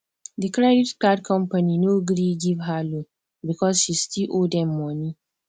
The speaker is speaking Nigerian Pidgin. the credit card company no gree give her loan because she still owe dem money